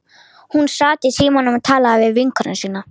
Hún sat í símanum og talaði við vinkonu sína.